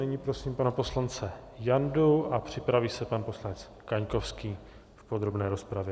Nyní prosím pana poslance Jandu a připraví se pan poslanec Kaňkovský v podrobné rozpravě.